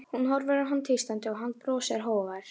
Hún horfir á hann tístandi, hann brosir, hógvær.